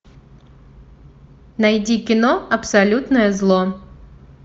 найди кино абсолютное зло